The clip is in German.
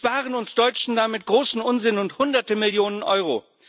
Sie sparen uns Deutschen damit großen Unsinn und Hunderte Millionen Euro.